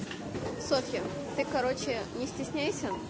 ты короче не стесняйся